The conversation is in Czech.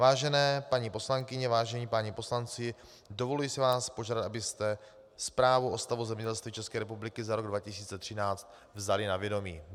Vážené paní poslankyně, vážení páni poslanci, dovoluji si vás požádat, abyste zprávu o stavu zemědělství České republiky za rok 2013 vzali na vědomí.